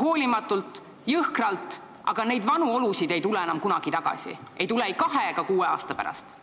hoolimatult ja jõhkralt, aga vanu olusid ei tule enam kunagi tagasi, ei kahe ega kuue aasta pärast.